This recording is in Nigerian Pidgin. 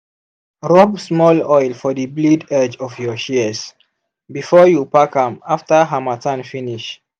rub small oil for the blade edge of your shears before you pack am after harmattan finish.